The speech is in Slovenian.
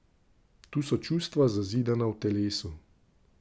Tu so čustva, zazidana v telesu.